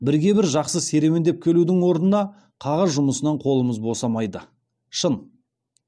бірге бір жаққа серуендеп келудің орнына қағаз жұмысынан қолымыз босамайды шын